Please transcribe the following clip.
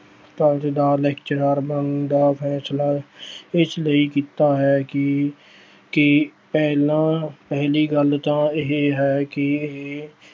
College ਦਾ lecturer ਬਣਨ ਦਾ ਫੈਸਲਾ ਇਸ ਲਈ ਕੀਤਾ ਹੈ ਕਿ ਕਿ ਪਹਿਲਾਂ ਪਹਿਲੀ ਗੱਲ ਤਾਂ ਇਹ ਹੈ ਕਿ ਇਹ